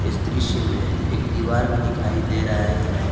इस दृश्य में एक दीवार भी दिखाई दे रहा है।